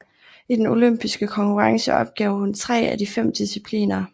I den olympiske konkurrence opgav hun efter 3 af de 5 discipliner